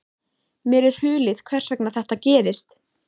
Mér er hulið hvers vegna þetta gerist.